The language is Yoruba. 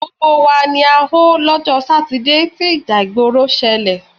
Gbogbo wa ni a họ lọ́jọ́ Sátidé tí ìjà ìgbòrò ṣẹlẹ̀.